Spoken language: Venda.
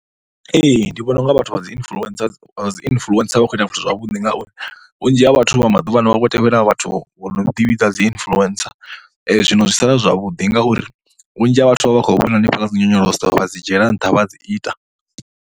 Ee, ndi vhona u nga vhathu vha dzi influencer, vha dzi influencer vha khou ita zwithu zwavhuḓi ngauri vhunzhi ha vhathu vha maḓuvhaano vhav ho tevhela vhathu vha no ḓivhidza dzi influencer. Zwino zwi sala zwi zwavhuḓi ngauri vhunzhi ha vhathu vha vha vha khou vhona hanefha kha dzi nyonyoloso vha dzi dzhiela nṱha vha dzi ita.